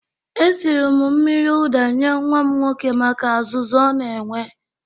Esiri m mmiri ụda nye nwa m nwoke maka azụzụ o na-enwe